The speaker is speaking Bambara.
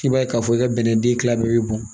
I b'a ye k'a fɔ i ka bɛnɛ den kila bɛɛ bɛ bɔn